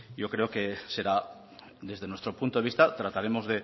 yo creo que será desde nuestro punto de vista trataremos